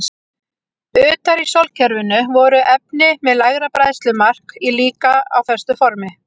Utar í sólkerfinu voru efni með lægra bræðslumark líka á föstu formi.